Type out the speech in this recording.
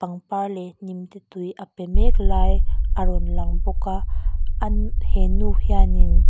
par leh hnimte tui a pe mek lai a rawn lang bawk a he nu hian in.